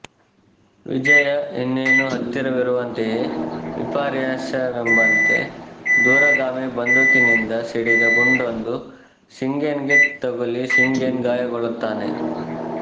ವಿಜಯ ಇನ್ನೇನು ಹತ್ತಿರವಿರುವಂತೆಯೇ ವಿಪರ್ಯಾಸವೆಂಬಂತೆ ದೂರಗಾಮಿ ಬಂದೂಕಿನಿಂದ ಸಿಡಿದ ಗುಂಡೊಂದು ಶಿಂಗೆನ್ ಗೆ ತಗುಲಿ ಶಿಂಗೆನ್ ಗಾಯಗೊಳ್ಳುತ್ತಾನೆ